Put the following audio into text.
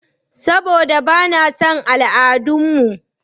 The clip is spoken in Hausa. Saɓoda ba na son al'adun mu.